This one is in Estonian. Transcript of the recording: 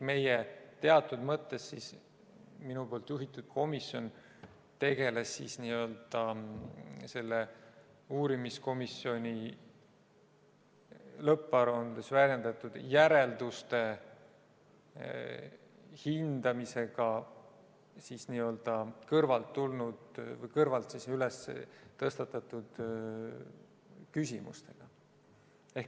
Teatud mõttes see minu juhitud komisjon tegeles varasema uurimiskomisjoni lõpparuandes väljendatud järelduste hindamisega ja n-ö kõrvalt tulnud või kõrvalt tõstatatud küsimustega.